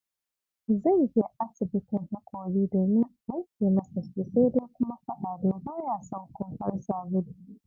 Zai je asibin hakori domin a wanke masa su, sai dai kuma fa Ado ba ya son kumfar sabulu!